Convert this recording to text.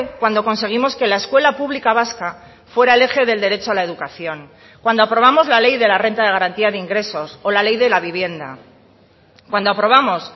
cuando conseguimos que la escuela pública vasca fuera el eje del derecho a la educación cuando aprobamos la ley de la renta de garantía de ingresos o la ley de la vivienda cuando aprobamos